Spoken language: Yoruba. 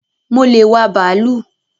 Mo le wá bàálù